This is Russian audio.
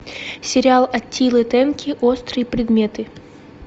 сериал аттилы тенки острые предметы